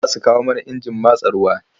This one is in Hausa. Za su kawo mana injin matsa ruwa.